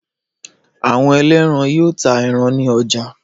Àwọn ẹlẹ́ran yóò ta ẹran ní ọjà.